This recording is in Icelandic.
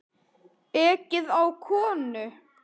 Ekið á konu